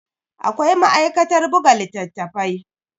Akwai ma'aikatar buga littattafai.